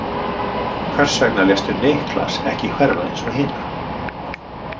Hvers vegna léstu Niklas ekki hverfa eins og hina?